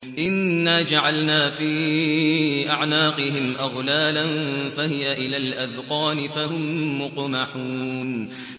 إِنَّا جَعَلْنَا فِي أَعْنَاقِهِمْ أَغْلَالًا فَهِيَ إِلَى الْأَذْقَانِ فَهُم مُّقْمَحُونَ